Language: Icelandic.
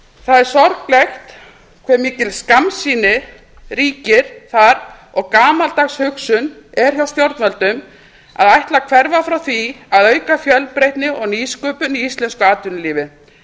það er sorglegt hve mikil skammsýni ríkir þar og gamaldags hugsun er hjá stjórnvöldum að ætla að hverfa frá því að auka fjölbreytni og nýsköpun í íslensku atvinnulífi